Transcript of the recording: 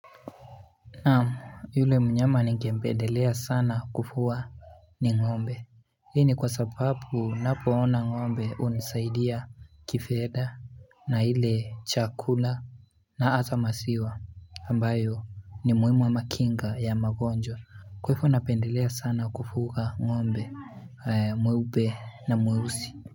Naam yule mnyama ninge mpendelea sana kufuwa ni ng'ombe Hii ni kwa sababu napo ona ng'ombe hunisaidia kifedha na ile chakula na hata maziwa ambayo ni muhimu ama kinga ya magonjwa Kwa hivyo napendelea sana kufuga ng'ombe mweupe na mweusi.